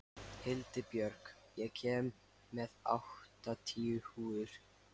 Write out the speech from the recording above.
Hildibjörg, ég kom með áttatíu húfur!